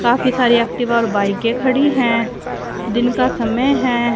काफी सारी एक्टिवा और बाईकें खड़ी है दिन का समय है।